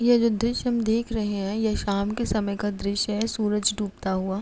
यह जो दृश्य हम देख रहे है ये शाम के समय का दृश्य है सूरज डूबता हुआ।